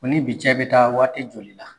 O ni bi cɛ bɛ taa waati joli la?